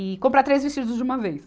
E comprar três vestidos de uma vez.